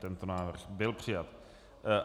Tento návrh byl přijat.